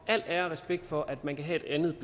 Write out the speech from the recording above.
al ære og respekt for at man kan have et andet